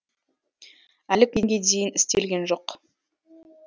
әлі күнге дейін істелген жоқ